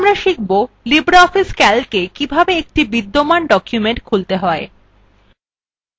এবার আমরা শিখব libreoffice calcwe কিভাবে একটি বিদ্যমান document খুলতে হয়